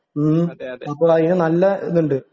ഉം അപ്പോൾ അതിന് നല്ല ഇതുണ്ട്